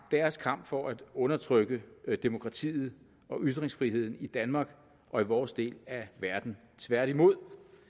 deres kamp for at undertrykke demokratiet og ytringsfriheden i danmark og i vores del af verden tværtimod